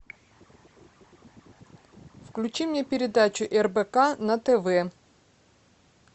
включи мне передачу рбк на тв